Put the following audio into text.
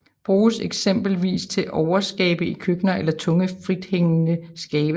Bruges eksempelvis til overskabe i køkkener eller tunge frithængende skabe